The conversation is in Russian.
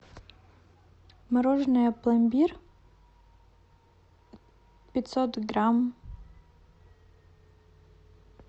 мороженое пломбир пятьсот грамм